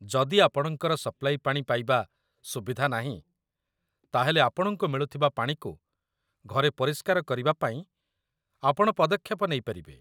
ଯଦି ଆପଣଙ୍କର ସପ୍ଲାଇ ପାଣି ପାଇବା ସୁବିଧା ନାହିଁ, ତା'ହେଲେ ଆପଣଙ୍କୁ ମିଳୁଥିବା ପାଣିକୁ ଘରେ ପରିଷ୍କାର କରିବାପାଇଁ ଆପଣ ପଦକ୍ଷେପ ନେଇପାରିବେ